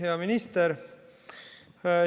Hea minister!